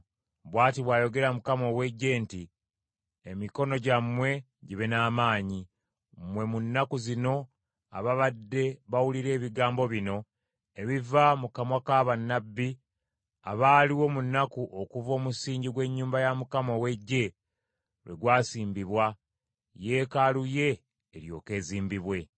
Bw’ati bw’ayogera Mukama ow’Eggye nti, “Emikono gyammwe gibe n’amaanyi, mmwe, mu nnaku zino ababadde bawulira ebigambo bino ebiva mu kamwa ka bannabbi abaaliwo mu nnaku okuva omusingi gw’ennyumba ya Mukama ow’Eggye lwe gwasimbibwa, yeekaalu ye eryoke ezimbibwe.